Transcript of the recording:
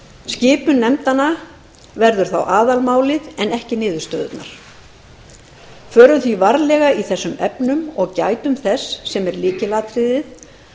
skipun nefndanna verður þá aðalmálið en ekki niðurstöðurnar förum því varlega í þessum efnum og gætum þess sem er lykilatriðið